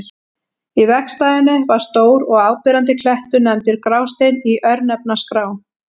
Í vegstæðinu var stór og áberandi klettur, nefndur Grásteinn í örnefnaskrá.